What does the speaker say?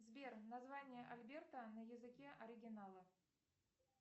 сбер название альберта на языке оригинала